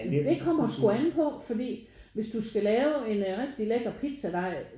Det kommer sgu an på fordi hvis du skal lave en rigtig lækker pizzadej